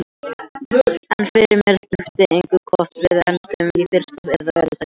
En fyrir mér skiptir engu hvort við endum í fyrsta eða öðru sæti.